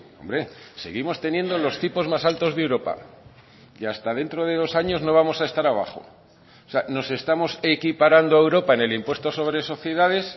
hombre seguimos teniendo los tipos más altos de europa y hasta dentro de dos años no vamos a estar abajo o sea nos estamos equiparando a europa en el impuesto sobre sociedades